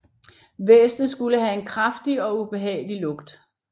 Væsenet skulle have en kraftig og ubehagelig lugt